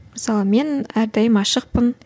мысалы мен әрдайым ашықпын